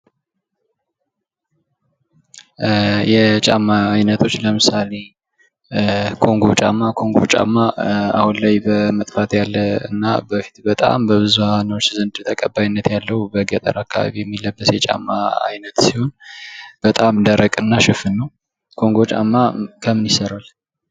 የጫማ አይነቶች ለምሳሌ ጎንጎ ጫማ አሁን ላይ በመጥፋት ያለና በፊት ላይ በብዙሃኖች ዘንድ ተቀባይነት ያለው በገጠር አካባቢ የሚለበስ የጫማ አይነት ሲሆን ጎንጎ ጫማ ከምን ይሠራል?